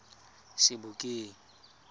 sebokeng